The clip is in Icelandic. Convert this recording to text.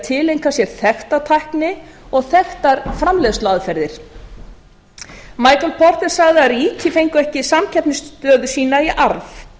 að tileinka sér textatækni og þekktar framleiðsluaðferðir m porter sagði að ríki fengju ekki samkeppnisstöðu sína í arf